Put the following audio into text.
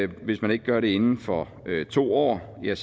hvis man ikke gør det inden for to år bliver